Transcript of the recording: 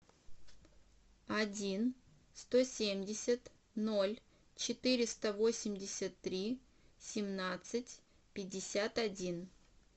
один сто семьдесят ноль четыреста восемьдесят три семнадцать пятьдесят один